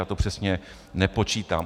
Já to přesně nepočítám.